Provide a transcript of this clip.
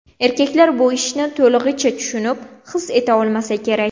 Erkaklar bu ishni to‘lig‘icha tushunib, his eta olmasa kerak.